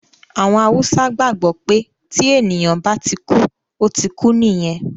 Àwọn Haúsá gbàgbọ́ pé tí ènìyàn bá ti kú, ó ti kú nìyẹn